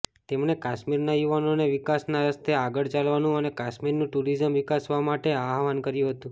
તેમણે કાશ્મીરના યુવાનોને વિકાસના રસ્તે આગળ ચાલવાનું અને કાશ્મીરનું ટુરિઝમ વિકસાવવા માટે આહવાન કર્યું હતું